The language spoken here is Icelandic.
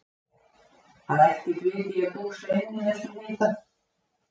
Það er ekkert vit í að dúsa inni í þessum hita.